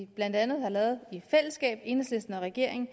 vi blandt andet har lavet i fællesskab enhedslisten og regeringen